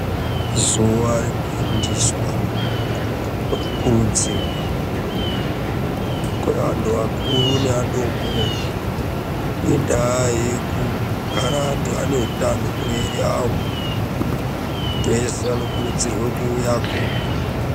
Zuva rekufundiswa nekukudzirwa kweantu akuru neadoko ngendaa yekugara antu ane utano mumwiri yawo antu ese anokurudzirwa kuuyako.